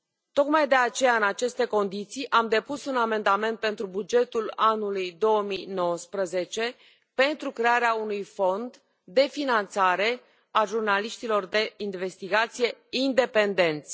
Tocmai de aceea, în aceste condiții, am depus un amendament pentru bugetul anului 2019 pentru crearea unui fond de finanțare a jurnaliștilor de investigație independenți.